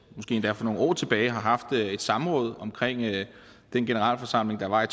måske endda for nogle år tilbage har haft et samråd om den generalforsamling der var i